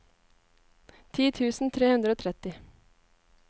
ti tusen tre hundre og tretti